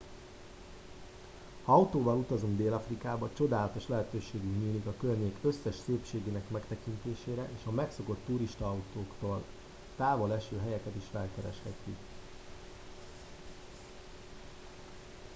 ha autóval utazunk dél afrikába csodálatos lehetőségünk nyílik a környék összes szépségének megtekintésére és a megszokott turistautaktól távol eső helyeket is felkereshetjük